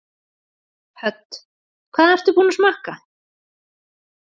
Hödd: Hvað ertu búin að smakka?